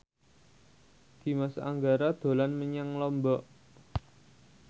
Dimas Anggara dolan menyang Lombok